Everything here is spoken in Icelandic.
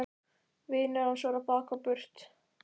Vinir hans voru á bak og burt.